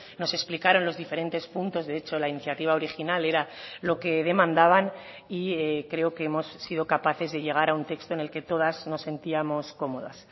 nos explicaron los diferentes puntos de hecho la iniciativa original era lo que demandaban y creo que hemos sido capaces de llegar a un texto en el que todas nos sentíamos cómodas